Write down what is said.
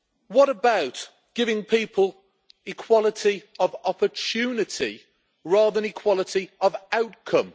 What about giving people equality of opportunity rather than equality of outcome?